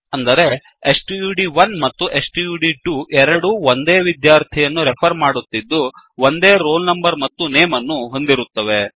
ಅಂದರೆ ಸ್ಟಡ್1 ಮತ್ತು ಸ್ಟಡ್2 ಎರಡೂ ಒಂದೇ ವಿದ್ಯಾರ್ಥಿಯನ್ನು ರೆಫರ್ ಮಾಡುತ್ತಿದ್ದು ಒಂದೇ ರೋಲ್ ನಂಬರ್ ಮತ್ತು ನೇಮ್ ಅನ್ನು ಹೊಂದಿರುತ್ತವೆ